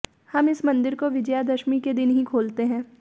हम इस मंदिर को विजयादशमी के दिन ही खोलते हैं